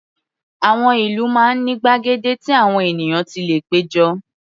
Àwọn ìlú máa ń ní gbàgede tí àwọn ènìyàn ti lè pé jọ.